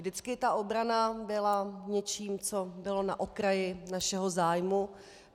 Vždycky ta obrana byla něčím, co bylo na okraji našeho zájmu.